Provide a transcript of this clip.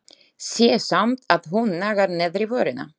Sé samt að hún nagar neðri vörina.